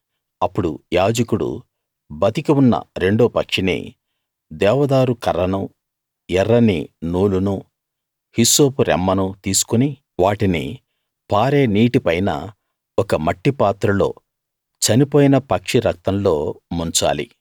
అప్పుడు యాజకుడు బతికి ఉన్న రెండో పక్షినీ దేవదారు కర్రనూ ఎర్రని నూలునూ హిస్సోపు రెమ్మనూ తీసుకుని వాటిని పారే నీటిపైన ఒక మట్టి పాత్రలో చనిపోయిన పక్షి రక్తంలో ముంచాలి